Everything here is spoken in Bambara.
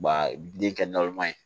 Wa den kɛ ye